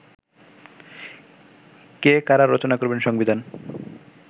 কে, কারা রচনা করবেন সংবিধান